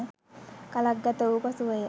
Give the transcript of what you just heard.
කලක් ගත වූ පසුවය.